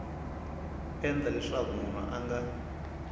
endla leswaku munhu a nga